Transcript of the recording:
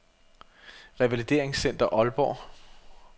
Revalideringscenter Aalborg